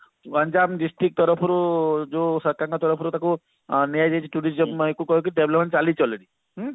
Ganjam district ତରଫରୁ ଯୋଉ ସରକାରଙ୍କ ତରଫରୁ ନିଆଯାଇଛି tourism କହିକି development ଚାଲିଛି already